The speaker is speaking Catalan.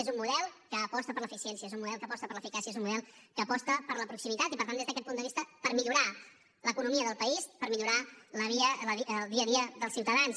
és un model que aposta per l’eficiència és un model que aposta per l’eficàcia és un model que aposta per la proximitat i per tant des d’aquest punt de vista per millorar l’economia del país per millorar el dia a dia dels ciutadans